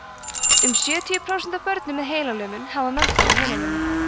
um sjötíu prósent af börnum með heilalömun hafa meðfædda heilalömun